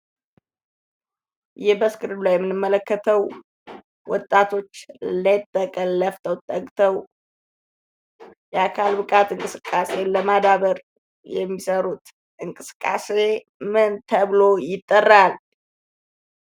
ይህ በስክሪኑ ላይ የምንመለከተው ወጣቶች ሌት ከቀን ላፍቶ የሰውነት እንቅስቃሴን ለማዳበር የሚሰሩት እንቅስቃሴ ምን ተብሎ ይጠራል?